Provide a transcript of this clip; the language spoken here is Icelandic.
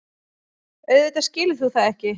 Auðvitað skilur þú það ekki.